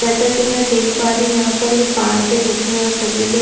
जैसा कि मैं यहाँ देख पा रही हूँ यहाँ पर ये पार्क है जो की यहाँ छोटे-छोटे --